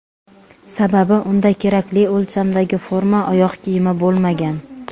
Sababi unda kerakli o‘lchamdagi forma oyoq kiyimi bo‘lmagan.